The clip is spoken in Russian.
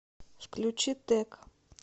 включи тек